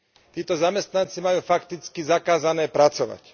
Títo zamestnanci majú fakticky zakázané pracovať.